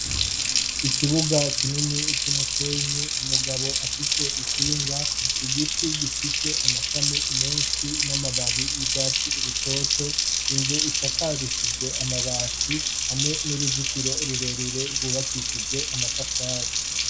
ikibuga kinini icumusenyi umugabo afise ikinga igiti gifise amashami menshi n'amababi y'ubwatsi rutoto inzu isakarishijwe amabati hamwe n'uruzitiro rurerure rwubakishijwe amatafari